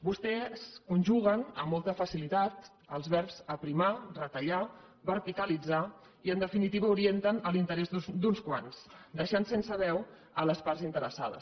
vostès conjuguen amb molta facilitat els verbs aprimar retallar verticalitzar i en definitiva orienten a l’interès d’uns quants i deixen sense veu les parts interessades